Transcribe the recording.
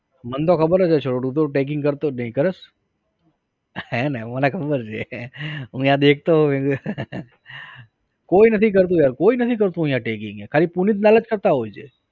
મન તો ખબર જ હશે તું તો tagging કરતો જ નઈ, કરસ? હે ને. મને ખબર જ છે હે ને હું અઈયા દેખતો હોઉં કોઈ નથી કરતુ યાર કોઈ નથી કરતુ અહિયાં tagging ખાલી પુનીતલાલ જ કરતા હોય છે